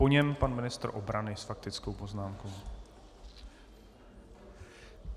Po něm pan ministr obrany s faktickou poznámkou.